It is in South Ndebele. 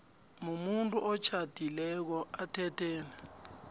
mumuntu otjhadileko athethene